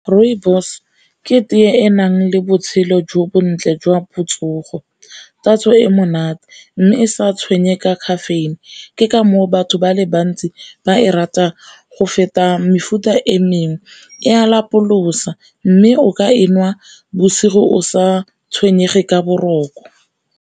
Rooibos ke tee e enang le botshelo jo bontle jwa botsogo, tatso e monate mme e sa tshwenye ka caffeine, ke ka moo batho ba le ntsi ba e rata go feta mefuta e mengwe, e a lapolosa mme o ka e nwa bosigo o sa tshwenyege ka boroko.